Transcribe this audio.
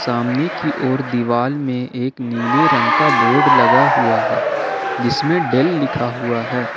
सामने की ओर दीवाल में एक नीले रंग का बोर्ड लगा हुआ है जिसमें डेल लिखा हुआ है।